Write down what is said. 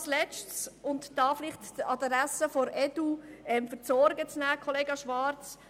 Ein letztes Wort an die Adresse der EDU, um dem Kollegen Schwarz seine Sorgen zu nehmen: